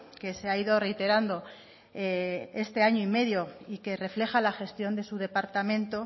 que se ha ido reiterando este año y medio y que refleja la gestión de su departamento